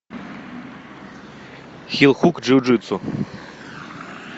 хил хук джиу джитсу